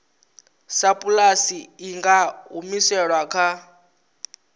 sapulasi i nga humiselwa kha